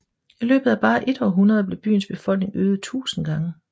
I løbet af bare et århundrede blev byens befolkning øget 1000 gange